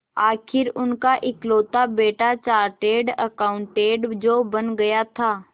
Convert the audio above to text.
आखिर उनका इकलौता बेटा चार्टेड अकाउंटेंट जो बन गया था